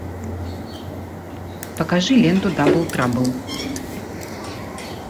покажи ленту дабл трабл